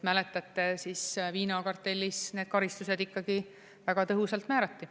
Mäletate, viinakartellis need karistused ikkagi väga tõhusalt määrati.